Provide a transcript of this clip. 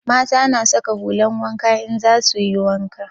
Mata na saka hulan wanka in za suyi wanka